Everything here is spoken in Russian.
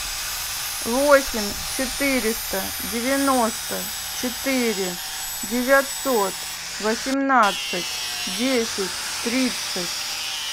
восемь четыреста девяносто четыре девятьсот восемнадцать десять тридцать